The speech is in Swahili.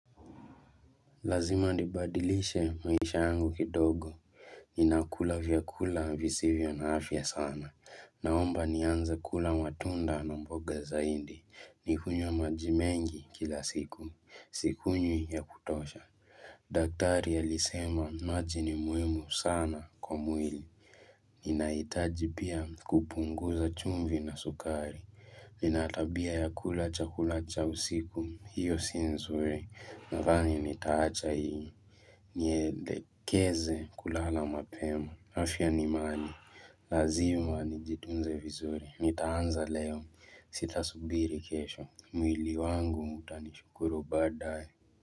Lazima nibadilishe maisha yangu kidogo. Ninakula vyakula visivyo na afya sana. Naomba nianza kula matunda na mboga zaindi. Nikunywe maji mengi kila siku. Sikunywi ya kutosha. Daktari alisema maji ni muhimu sana kwa mwili. Ninahitaji pia kupunguza chumvi na sukari. Nina tabia ya kula chakula cha usiku. Hiyo si nzuri. Nadhani nitaacha hii mwelekezo kulala mapema afia ni mali, lazima nijitunze vizuri nitaanza leo, sitasubiri kesho mwili wangu nitamshukuru badaye.